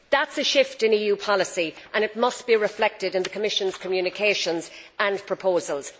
That is a shift in EU policy and it must be reflected in the Commission's communications and proposals.